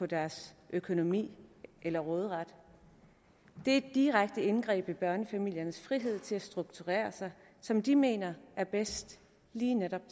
deres økonomi eller råderet det er et direkte indgreb i børnefamiliernes frihed til at strukturere sig som de mener er bedst lige netop